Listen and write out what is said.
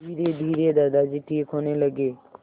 धीरेधीरे दादाजी ठीक होने लगे